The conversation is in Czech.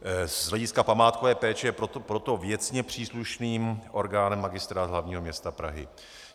Z hlediska památkové péče je proto věcně příslušným orgánem Magistrát hlavního města Prahy.